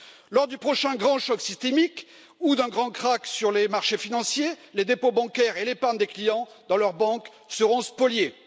Lors du prochain grand choc systémique ou d'un grand krach sur les marchés financiers, les dépôts bancaires et l'épargne des clients dans leurs banques seront spoliés.